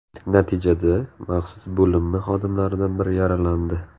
Natijada maxsus bo‘linma xodimlaridan biri yaralandi.